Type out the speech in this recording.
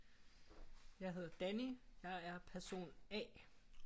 Jeg hedder Danny jeg er person A